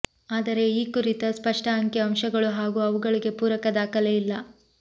ಆದರೆ ಈ ಕುರಿತ ಸ್ಪಷ್ಟ ಅಂಕಿ ಅಂಶಗಳು ಹಾಗೂ ಅವುಗಳಿಗೆ ಪೂರಕ ದಾಖಲೆ ಇಲ್ಲ